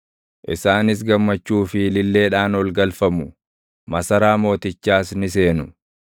Isaanis gammachuu fi ililleedhaan ol galfamu; masaraa mootichaas ni seenu.